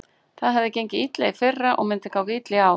Það hafði gengið illa í fyrra og myndi ganga illa í ár.